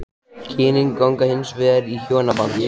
Kynin ganga hins vegar í hjónaband.